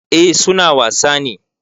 Eh su na wasa ne.